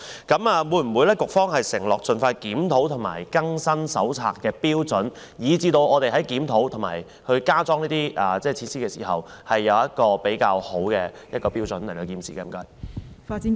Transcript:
局方會否承諾盡快檢討，並更新《手冊》的有關標準，好讓我們在檢討和加裝設施時，能遵循一些較好的標準來進行建設呢？